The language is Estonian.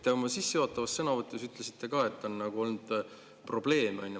Te oma sissejuhatavas sõnavõtus ütlesite ka, et on olnud probleeme.